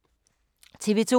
TV 2